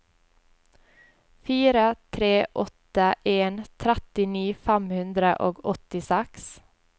fire tre åtte en trettini fem hundre og åttiseks